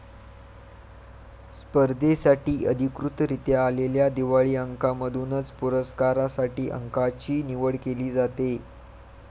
स्पर्धेसाठी अधिकृतरीत्या आलेल्या दिवाळी अंकांमधूनच पुरस्कारांसाठी अंकाची निवड केली जाते